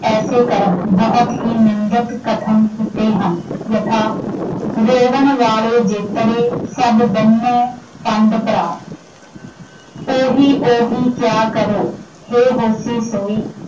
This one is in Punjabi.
ਐਸੇ ਕਰਮ ਬਹੁਤ ਹੀ ਨਿੰਦਕ ਕਥਨ ਕੀਤੇ ਹਨ। , ਓਹੀ ਓਹੀ ਕਿਆ ਕਰਹੁ ਹੈ ਹੋਸੀ ਸੋਈ ॥